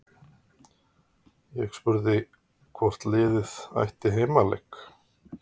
Ég spurði hvort liðið ætti heimaleik?